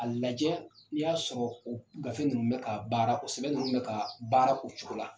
A lajɛ n'i y'a sɔrɔ o gafe ninnu bɛ ka baara o sɛbɛn ninnu bɛ ka baara o cogo la.